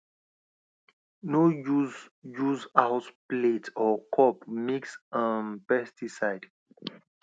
no use use house plate or cup mix um pesticide